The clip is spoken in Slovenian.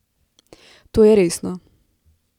To je resno.